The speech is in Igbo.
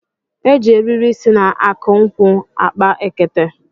E ji eriri si na akụ nkwụ akpa ekete